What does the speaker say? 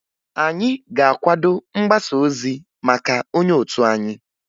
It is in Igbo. Anyị ga-akwado mgbasaozi maka onye otu anyị